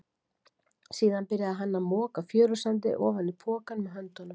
Síðan byrjaði hann að moka fjörusandi ofan í pokann með höndunum.